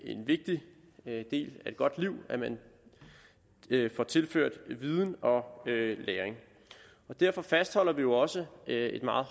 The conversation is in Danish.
en vigtigt del af et godt liv at man får tilført viden og læring derfor fastholder vi jo også et meget